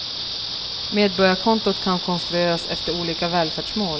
Medborgarkontot kan konstrueras efter olika välfärdsmål.